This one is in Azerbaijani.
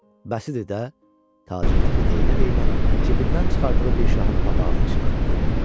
Bəs idi də, Tacir Rəfi deyinə-deyinə cibindən çıxardığı bir şahını papağının içinə atdı.